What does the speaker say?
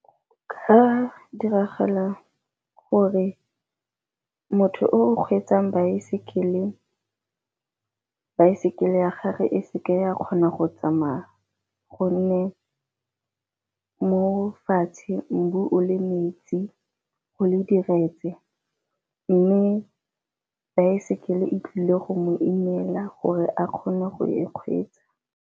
diragala gore motho o o kgweetsang baesekele, baesekele ya gage e seke ya kgona go tsamaya gonne mo fatshe mbu o le metsi go le diretse. Mme baesekele e tlile go mo imela gore a kgone go e kgweetsa.